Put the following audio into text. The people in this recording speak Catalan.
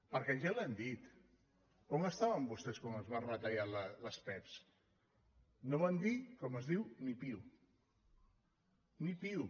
perquè ja li ho han dit on estaven vostès quan es van retallar les pevs no van dir com es diu ni piu ni piu